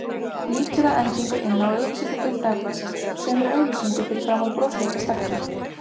Lítur að endingu inn á auglýsingadeild Dagblaðsins og semur auglýsingu fyrir framan brosleita stelpu.